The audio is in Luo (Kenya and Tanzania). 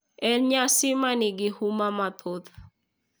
En nyasi manigi huma mathoth.